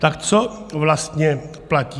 Tak co vlastně platí?